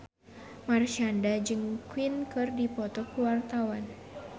Marshanda jeung Queen keur dipoto ku wartawan